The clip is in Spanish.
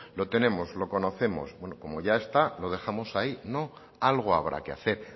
lo tenemos lo conocemos bueno como ya está lo dejamos ahí no algo habrá que hacer